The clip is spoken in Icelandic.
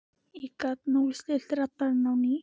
ég gat núllstillt radarinn á ný.